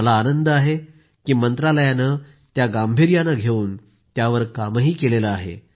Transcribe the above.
मला याचा आनंद आहे की मंत्रालयानं त्या गांभिर्यानं घेऊन त्यावर कामही केलं आहे